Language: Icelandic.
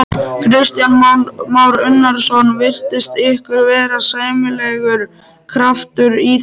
Kristján Már Unnarsson: Virtist ykkur vera sæmilegur kraftur í þessu?